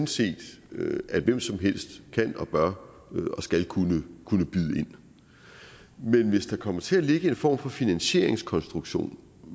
set at hvem som helst kan bør og skal kunne kunne byde ind men hvis der kommer til at ligge en form for finansieringskonstruktion